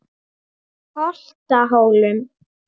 Holtahólum